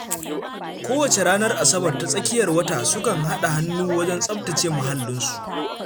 Kowace ranar Asabar ta tsakiyar wata sukan haɗa hannu wajen tsaftace muhallansu.